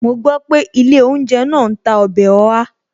Mo gbọ́ pé ilé ounje náà ń tà ọbẹ̀ Oha